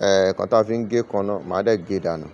ẹ́, ǹkan tí a fi ń gé èékánná, màá dẹ̀ gé dànù.